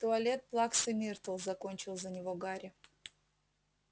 туалет плаксы миртл закончил за него гарри